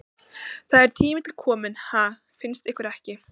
Það er tími til kominn, ha, finnst ykkur ekki?